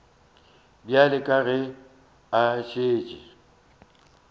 bjale ka ge a šetše